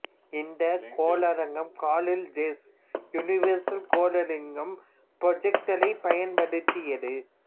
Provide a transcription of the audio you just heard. இந்தக் கோளரங்கம் Carl Zeiss universal கோளரங்கம் ப்ரொஜெக்டரைப் பயன்படுத்தியது